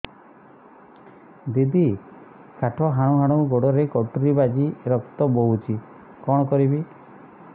ଦିଦି କାଠ ହାଣୁ ହାଣୁ ଗୋଡରେ କଟୁରୀ ବାଜି ରକ୍ତ ବୋହୁଛି କଣ କରିବି